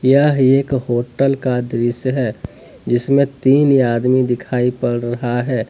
यह एक होटल का दृश्य है जिसमें तीन आदमी दिखाई पड़ रहा है।